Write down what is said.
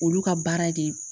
Olu ka baara de ye